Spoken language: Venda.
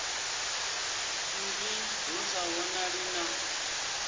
nzwii hu sa vhonali na